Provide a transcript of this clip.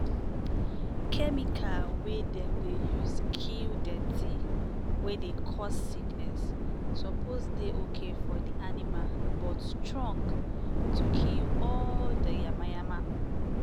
chemical wey dem dey use kill dirty wey dey cause sickness suppose dey okay for di animal but strong to kill all di yamayama.